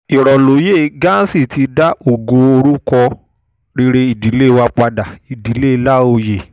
ìròlóye ghansi ti dá ògo àti orúkọ rere ìdílé wa padà ìdílé láòye